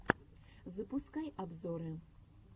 запускай обзоры